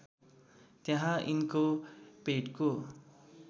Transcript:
त्यहाँ यिनको पेटको